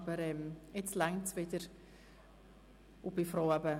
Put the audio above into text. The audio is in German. Aber jetzt sind wir wieder in genügender Anzahl im Saal.